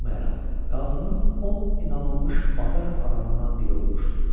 qazının ən inanılmış bazar adamından biri olmuşdu.